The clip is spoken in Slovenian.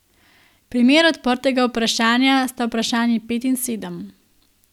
Primer odprtega vprašanja sta vprašanji pet in sedem.